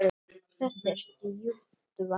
Þetta er djúpt vatn.